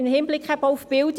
Sie sind gut gemacht.